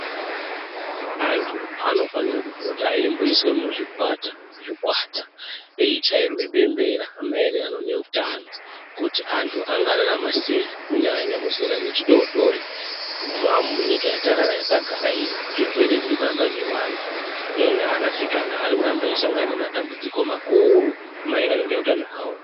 Antu anofanire kupota eimboiswe muzvikata zvikwata eichairwe bembera maererano neutano kuti antu angararama sei kunyanya nuzera wechidodori munyika yatagara iyi, zvirwere zvirikuramba zveiwanda enye anasikana airikuramba eisangana nematambudziko makuru maererano neutano hwavo.